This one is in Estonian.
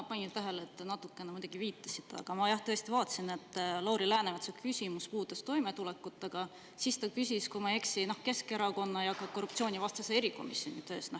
Ma panin tähele, et natukene muidugi viitasite, aga ma jah tõesti vaatasin, et Lauri Läänemetsa küsimus puudutas toimetulekut, aga siis ta küsis, kui ma ei eksi, Keskerakonna ja ka korruptsioonivastase erikomisjoni tööst.